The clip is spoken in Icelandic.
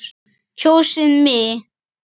Kjósið mig.